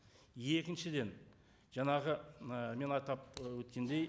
екіншіден жаңағы ы мен атап ы өткендей